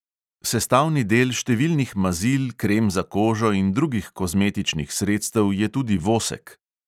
Sestavni del številnih mazil, krem za kožo in drugih kozmetičnih sredstev je tudi vosek.